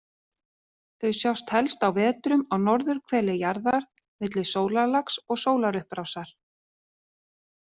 Þau sjást helst á vetrum á norðurhveli jarðar, milli sólarlags og sólarupprásar.